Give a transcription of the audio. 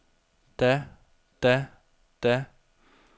da da da